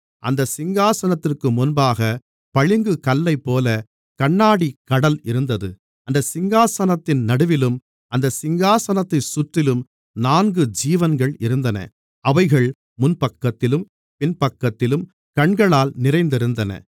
அந்தச் சிங்காசனத்திற்கு முன்பாகப் பளிங்குக் கல்லைப்போல கண்ணாடிக் கடல் இருந்தது அந்தச் சிங்காசனத்தின் நடுவிலும் அந்தச் சிங்காசனத்தைச் சுற்றிலும் நான்கு ஜீவன்கள் இருந்தன அவைகள் முன்பக்கத்திலும் பின்பக்கத்திலும் கண்களால் நிறைந்திருந்தன